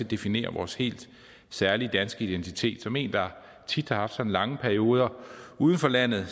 definere vores helt særlige danske identitet som en der tit har haft lange perioder uden for landet